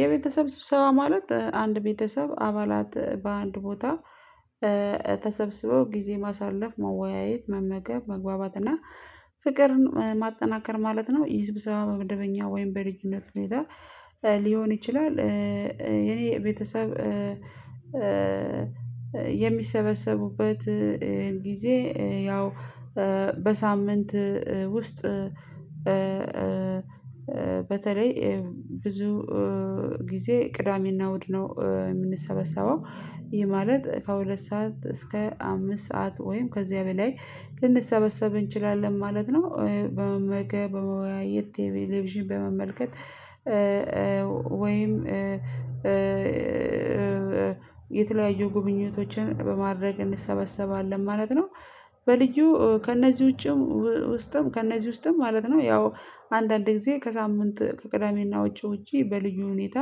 የቤተሰብ ስብሰባ ማለት አንድ ቤተሰብ አባላት በአንድ ቦታ ተሰብስበው ጊዜ ማሳለፍ መወያየት መመገብ መግባባት እና ፍቅርን ማጠናከር ማለት ነው። ይህ ስብሰባ በመደበኛ ወይም በልዩነት ሁኔታ ሊሆን ይችላል። የኔ ቤተሰብ የሚሰበሰቡበት ጊዜ ያው በሳምንት ውስጥ በተለይ ብዙ ጊዜ ቅዳሜና እሁድ ነው የምንሰበሰበው። ይሄ ማለት ከሁለት ሰዓት እስከ አምስት ሰዓት ወይም ከዚያ በላይ ልንሰበሰብ እንችላለን ማለት ነው። በመገብ በመወያየት ቴሌቪዥን በመመልከት ወይም የተለያዩ ጉብኝቶችን በማድረግ እንሰበሰባለን ማለት ነው። በልዩ ከእነዚህ ውጪም ውስጥም ከእነዚህ ውስጥም ማለት ነው ያው አንዳንድ ጊዜ ከሳምንት ከቅዳሜና ውጪ ውጪ በልዩ ሁኔታ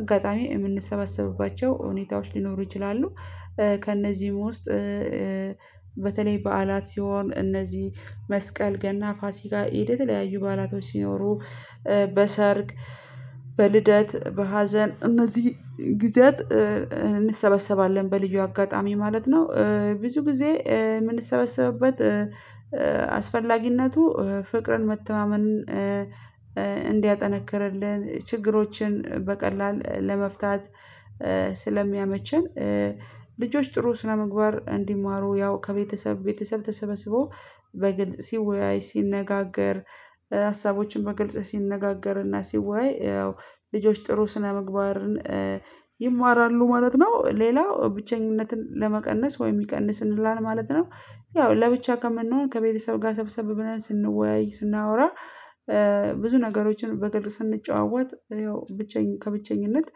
አጋጣሚ የምንሰበሰብባቸው ሁኔታዎች ሊኖሩ ይችላሉ። ከእነዚህ ውስጥ በተለይ በዓላት ሲሆን እነዚህ መስቀል ገና ፋሲካ የተለያዩ በዓላቶች ሲኖሩ በሰርግ በልደት በሀዘን እነዚህ ጊዜያት እንሰበሰባለን በልዩ አጋጣሚ ማለት ነው። ብዙ ጊዜ የምንሰበሰብበት አስፈላጊነቱ ፍቅርን መተማመን እንዲያጠነክርልን ችግሮችን በቀላል ለመፍታት ስለሚያመቸን። ልጆች ጥሩ ስነምግባር እንዲማሩ ያው ከቤተሰብ ቤተሰብ ተሰበስቦ በግልጽ ሲወያይ ሲነጋገር ሀሳቦችን በግልጽ ሲነጋገርና ሲዋይ ያው ልጆች ጥሩ ስነምግባርን ይማራሉ ማለት ነው። ሌላው ብቸኝነትን ለመቀነስ ወይ ይቀንስልናል ማለት ነው። ያው ለብቻ ከምንሆን ከቤተሰብ ጋር ሰብሰብ ብለን ስንወያይ ስናወራ ብዙ ነገሮችን በግል ስንጨዋወት ይኸው ብቸኝ ከብቸኝነት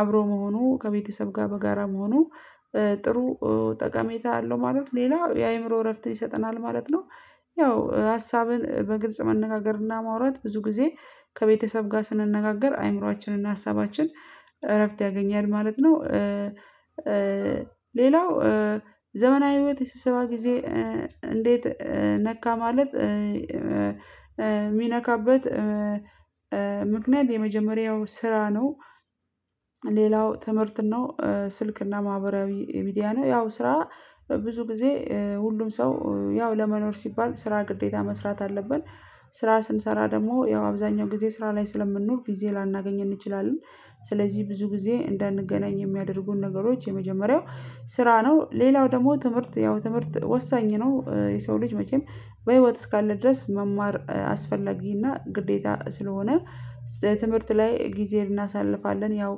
አብሮ መሆኑ ከቤተሰብ ጋር በጋራ መሆኑ ጥሩ ጠቀሜታ አለው። ማለት ሌላ የአእምሮ እረፍት ይሰጠናል ማለት ነው። ያው ሀሳብን በግልጽ መነጋገርና ማውራት ብዙ ጊዜ ከቤተሰብ ጋር ስንነጋገር አይምሮአችንና ሀሳባችን እረፍት ያገኛል ማለት ነው። ሌላው ዘመናዊ ህይወት የስብሰባ ጊዜ እንዴት ነካ ማለት የሚነካበት ምክንያት የመጀመሪያው ስራ ነው። ሌላው ትምህርት ነው ስልክና ማህበራዊ ሚዲያ ነው ያው ስራ ብዙ ጊዜ ሁሉም ሰው ያው ለመኖር ሲባል ስራ ግዴታ መስራት አለብን። ስራ ስንሰራ ደግሞ ያው አብዛኛው ጊዜ ስራ ላይ ስለምንኖር ጊዜ ላናገኝ እንችላለን። ስለዚህ ብዙ ጊዜ እንዳንገናኝ የሚያደርጉን ነገሮች የመጀመሪያው ስራ ነው። ሌላው ደግሞ ትምህርት ያው ትምህርት ወሳኝ ነው። የሰው ልጅ መቼም በህይወት እስካለ ድረስ መማር አስፈለጊና ግዴታ ስለሆነ ትምህርት ላይ ጊዜ እናሳልፋለን ያው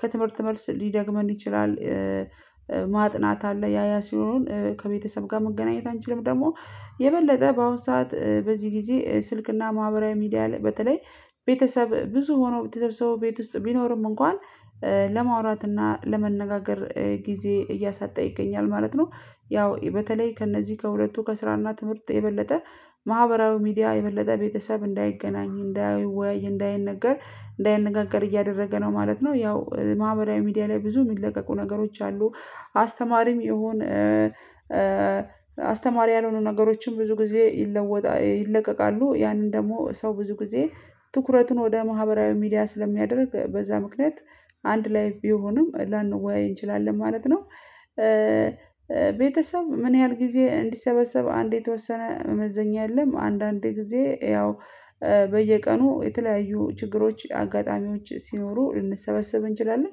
ከትምህርት መልስ ሊደክመን ይችላል። ማጥናት አለ ያ ያ ሲሆኑን ከቤተሰብ ጋር መገናኘት አንችልም ደግሞ የበለጠ በአሁን ሰዓት በዚህ ጊዜ ስልክና ማህበራዊ ሚዲያ በተለይ ቤተሰብ ብዙ ሆኖ ቤተሰብ ቤት ውስጥ ቢኖርም እንኳን ለማውራት እና ለመነጋገር ጊዜ እያሳጣ ይገኛል ማለት ነው። ያው በተለይ ከእነዚህ ከሁለቱ ከስራና ትምህርት የበለጠ ማህበራዊ ሚዲያ የበለጠ ቤተሰብ እንዳይገናኝ እንዳይወያይ እንዳይነገር እንዳይነጋገር እያደረገ ነው ማለት ነው። ያው ማህበራዊ ሚዲያ ላይ ብዙ የሚለቀቁ ነገሮች አሉ። አስተማሪም ይሁን አስተማሪ ያልሆኑ ነገሮችን ብዙ ጊዜ ይለወጣ ይለቀቃሉ ያንን ደግሞ ሰው ብዙ ጊዜ ትኩረቱን ወደ ማህበራዊ ሚዲያ ስለሚያደርግ በዛ ምክንያት አንድ ላይ ቢሆንም ላንወያይ እንችላለን ማለት ነው። ቤተሰብ ምን ያህል ጊዜ እንዲሰበሰብ አንዴ የተወሰነ መመዘኛ የለም። አንዳንዴ ጊዜ ያው በየቀኑ የተለያዩ ችግሮች አጋጣሚዎች ሲኖሩ ልንሰበሰብ እንችላለን።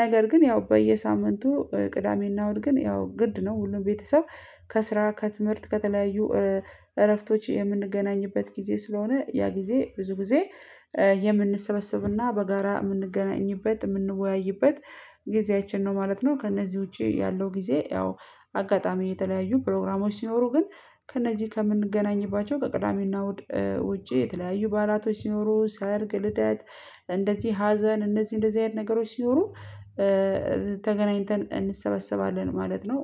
ነገር ግን ያው በየሳምንቱ ቅዳሜና እሁድ ግን ያው ግድ ነው ሁሉም ቤተሰብ ከስራ ከትምህርት ከተለያዩ እረፍቶች የምንገናኝበት ጊዜ ስለሆነ ያ ጊዜ ብዙ ጊዜ የምንሰበሰብና በጋራ የምንገናኝበት የምንወያይበት ጊዜያችን ነው ማለት ነው። ከእነዚህ ውጪ ያለው ጊዜ ያው አጋጣሚ የተለያዩ ፕሮግራሞች ሲኖሩ ግን ከእነዚህ ከምንገናኝባቸው ከቅዳሜና ውጪ የተለያዩ ባላቶች ሲኖሩ ሰርግ ልደት ሀዘን እነዚህ እንደዚህ አይነት ነገሮች ሲኖሩ ተገናኝተን እንሰበሰባለን ማለት ነው።